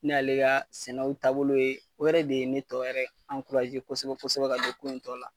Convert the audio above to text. Ne y'ale ka sɛnɛw taabolo ye o de ye ne tɔ kosɛbɛ kosɛbɛ ka don ko in tɔ la.